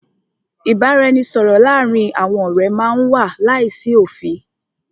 Ìbáraẹnisọ̀rọ̀ láàárín àwọn ọ̀rẹ́ má n wà láìsí òfin.